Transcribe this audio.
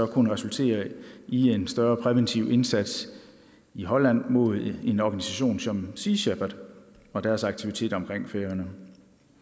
resultere i en større præventiv indsats i holland mod en organisation som sea shepherd og deres aktiviteter omkring færøerne